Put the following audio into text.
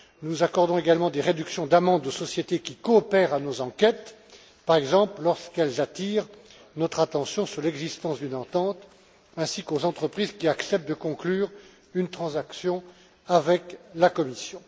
Nous accordons également des réductions d'amendes aux sociétés qui coopèrent à nos enquêtes, par exemple lorsqu'elles attirent notre attention sur l'existence d'une entente, ainsi qu'aux entreprises qui acceptent de conclure une transaction avec la Commission.